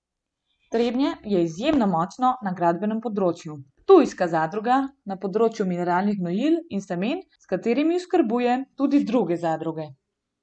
Trebnje je izjemno močno na gradbenem področju, ptujska zadruga na področju mineralnih gnojil in semen, s katerimi oskrbuje tudi druge zadruge.